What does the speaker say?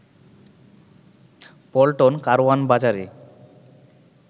পল্টন, কারওয়ান বাজারে